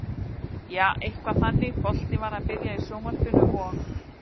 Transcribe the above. Jaa, eitthvað þannig, boltinn var að byrja í sjónvarpinu og.